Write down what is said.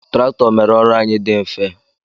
Traktọ mere ọrụ anyị dị mfe